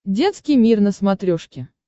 детский мир на смотрешке